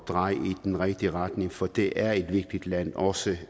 dreje i den rigtige retning for det er et vigtigt land også